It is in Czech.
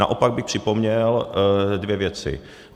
Naopak bych připomněl dvě věci.